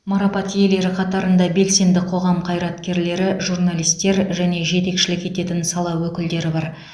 марапат иелері қатарында белсенді қоғам қайраткерлері журналистер және жетекшілік ететін сала өкілдері бар